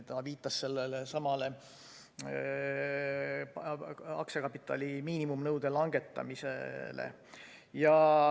Ta viitas sellelesamale aktsiakapitali miinimumnõude langetamisele.